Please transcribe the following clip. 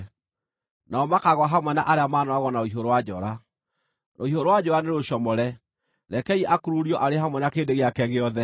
Nao makaagũa hamwe na arĩa maanooragwo na rũhiũ rwa njora. Rũhiũ rwa njora nĩrũcomore; rekei akururio arĩ hamwe na kĩrĩndĩ gĩake gĩothe.